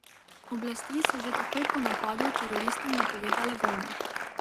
Oblasti so že takoj po napadu teroristom napovedale vojno.